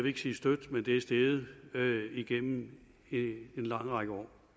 ikke sige støt men det er steget igennem en lang række år